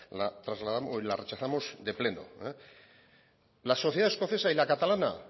la rechazamos de pleno la sociedad escocesa y la catalana